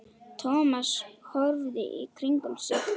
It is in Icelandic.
Thomas horfði í kringum sig.